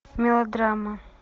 мелодрама